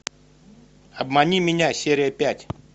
обмани меня серия пять